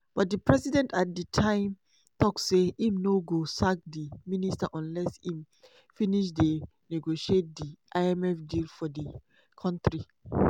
but di president at di time tok say im no go sack di minister unless im finish dey negotiate di imf deal for di kontri.